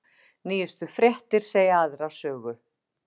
Nýjustu fréttir segja aðra sögu